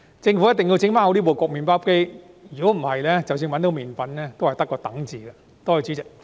政府一定要把麵包機修好；否則，即使找到麵粉，也只得一個"等"字。